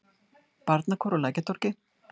Barnakór á Lækjartorgi.